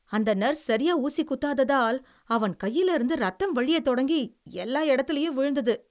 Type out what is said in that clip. அந்த நர்ஸ் சரியா ஊசி குத்தாததால் அவன் கையிலயிருந்து இரத்தம் வழியத் தொடங்கி எல்லா எடத்துலேயும் விழுந்தது.